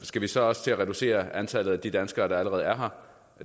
skal vi så også til at reducere antallet af de danskere der allerede er her